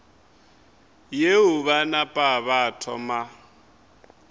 yeo ba napa ba thoma